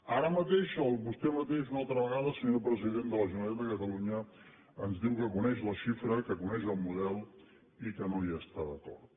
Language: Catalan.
ara mateix vostè mateix una altra vegada senyor president de la generalitat de catalunya ens diu que coneix la xifra que coneix el model i que no hi està d’acord